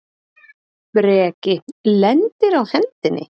Breki: Lendir á hendinni?